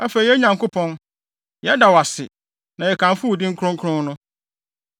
Afei, yɛn Nyankopɔn, yɛda wo ase, na yɛkamfo wo din kronkron no.